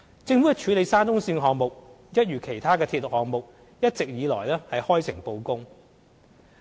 政府處理沙中線項目，一如其他鐵路項目，一直以來開誠布公。